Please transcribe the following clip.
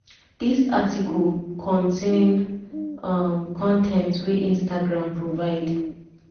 dis article contain um con ten t wey instagram provide.